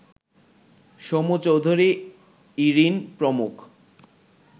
সমু চৌধুরী, ইরিন প্রমুখ